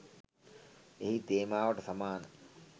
එහි තේමාවට සමාන